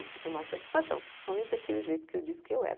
Eu fui tomar satisfação, principalmente daquele jeito que eu disse que eu era.